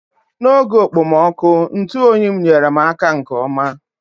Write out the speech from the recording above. N'oge okpomọkụ, ntụ oyi m nyere m aka nke ọma.